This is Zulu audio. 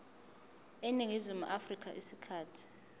eningizimu afrika isikhathi